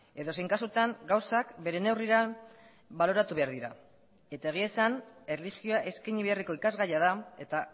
edozein kasutan gauzak bere neurrira baloratu behar dira eta egia esan erlijioa eskaini beharreko ikasgaia da eta